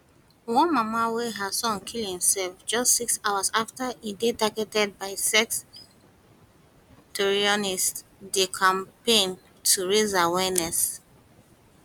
one mama wey her son kill imself just six hours afta e dey targeted by sextortionists dey campaign to raise awareness